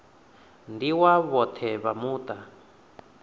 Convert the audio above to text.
ndi wa vhoṱhe vha muṱa